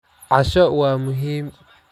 Casho waa muhiim.